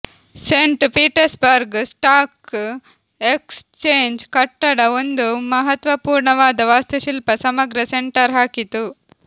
Saint Petersburg stock exchange ಕಟ್ಟಡ ಒಂದು ಮಹತ್ವಪೂರ್ಣವಾದ ವಾಸ್ತುಶಿಲ್ಪ ಸಮಗ್ರ ಸೆಂಟರ್ ಹಾಕಿತು